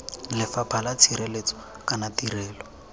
lefapha la tshireletso kana tirelo